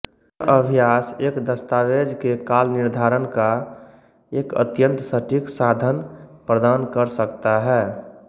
यह अभ्यास एक दस्तावेज के कालनिर्धारण का एक अत्यंत सटीक साधन प्रदान कर सकता है